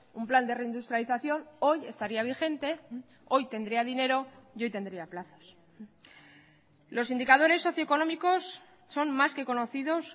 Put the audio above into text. un plan de reindustrialización hoy estaría vigente hoy tendría dinero y hoy tendría plazos los indicadores socioeconómicos son más que conocidos